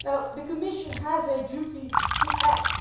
The Commission has a duty to act.